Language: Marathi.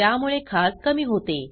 त्यामुळे खाज कमी होते